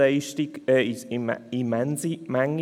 Das ist eine immense Menge.